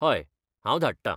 हय, हांव धाडटां.